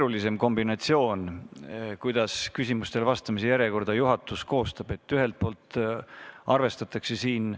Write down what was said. See, kuidas juhatus küsimustele vastamise järjekorda koostab, on tegelikult keerulisem kombinatsioon.